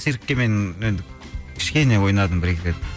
циркке мен енді кішкене ойнадым бір екі рет